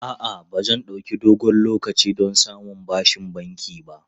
A'a, ba zai ɗauki dogon lokaci don samun bashin banki ba.